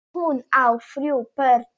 Hún á þrjú börn.